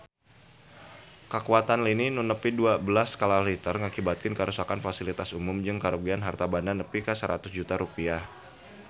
Kakuatan lini nu nepi dua belas skala Richter ngakibatkeun karuksakan pasilitas umum jeung karugian harta banda nepi ka 100 juta rupiah